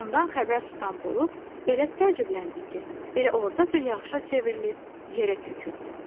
Bundan xəbər tutan bulud elə təəccübləndi ki, elə ordaca yağışa çevrilib yerə töküldü.